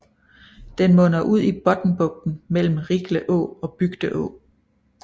Den munder ud i Bottenbugten mellem Rickleå og Bygdeå